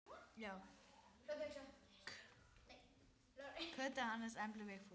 Kötu, Hannes, Emblu, Vigfús.